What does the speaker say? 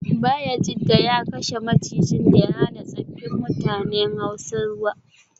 Bayajidda ya kashe macijin da ya hana tsaffin mutanen hausa ruwa